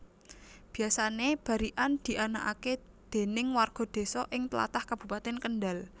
Biyasané barikan dianakake déning warga désa ing tlatah Kabupatèn Kendal